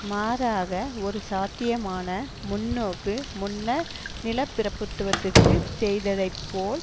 மாறாக ஒரு சாத்தியமான முன்னோக்கு முன்னர் நிலப்பிரபுத்துவத்திற்கு செய்ததைப்போல்